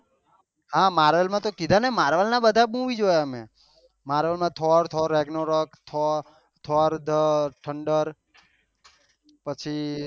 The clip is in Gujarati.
હા માર્વેલ માં તો કીધા ને માર્વેલ ના બધા મુવી જોયા મેં માર્વેલ માં Thor Thor Ragnarok Thor Thor the thunder